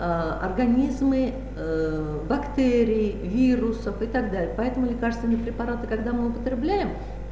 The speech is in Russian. организмы бактерии вирусов и так далее поэтому лекарственные препараты когда мы употребляем